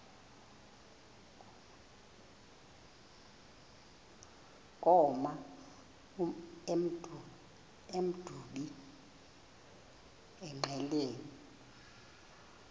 koma emdumbi engqeleni